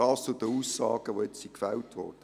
Dies zu den Aussagen, die jetzt gemacht wurden.